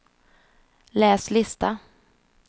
läs lista